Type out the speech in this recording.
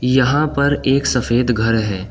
यहां पर एक सफ़ेद घर है।